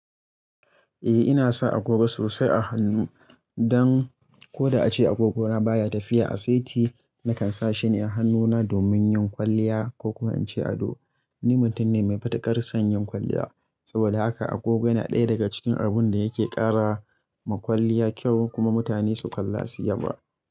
Eh, ina sa agogo sosai a hannu don ko da ace agogo na baya tafiya a saiti nakan sa shi ne a hannuna domin yin kwalliya ko kuma in ce ado. Ni mutum ne mai fatakar son yin kwalliya saboda haka agogo yana ɗaya daga cikin abun da yake kara ma kwalliya kyau kuma mutane su kalla su yaba.